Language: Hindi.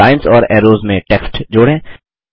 लाइन्स और ऐरोज़ में टेक्स्ट जोड़ें